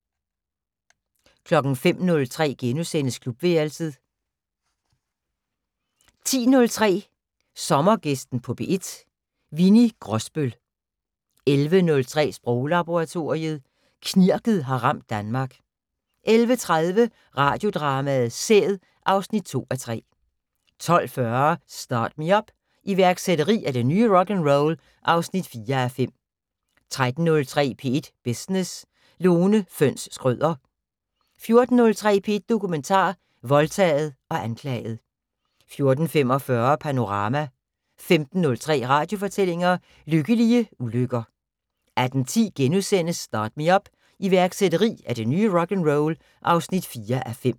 05:03: Klubværelset * 10:03: Sommergæsten på P1: Winni Grosbøll 11:03: Sproglaboratoriet: Knirket har ramt Danmark 11:30: Radiodrama: Sæd (2:3) 12:40: Start Me Up - iværksætteri er det nye rock'n'roll (4:5) 13:03: P1 Business: Lone Fønss Schrøder 14:03: P1 Dokumentar: Voldtaget og anklaget 14:45: Panorama 15:03: Radiofortællinger: Lykkelige ulykker 18:10: Start Me Up - iværksætteri er det nye rock'n'roll (4:5)*